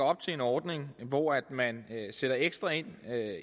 op til en ordning hvor man sætter ekstra ind